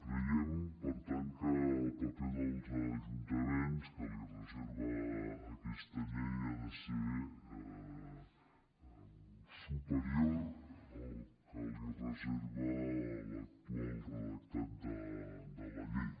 creiem per tant que el paper dels ajuntaments que li reserva aquesta llei ha de ser superior al que li reserva l’actual redactat de la llei